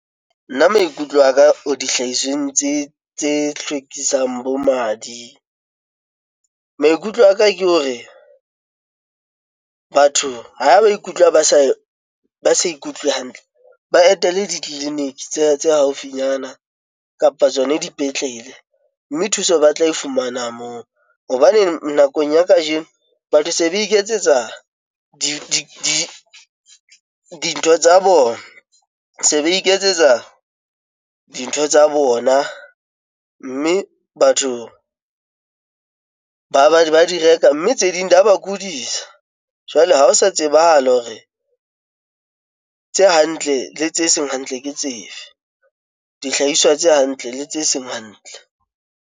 Nna maikutlo a ka o di hlahisweng tse hlwekisang bo madi maikutlo a ka ke hore batho ha ba ikutlwa ba sa ikutlwe hantle, ba etele ditleliniki tseo tse haufinyana kapa tsona dipetlele mme thuso ba tla e fumana moo. Hobane nakong ya kajeno batho se ba iketsetsa dintho tsa bona, se ba iketsetsa dintho tsa bona, mme batho ba di reka, mme tse ding di ya ba kodisa. Jwale ha ho sa tsebahale hore tse hantle le tse seng hantle, ke dihlahiswa tse hantle le tse seng hantle.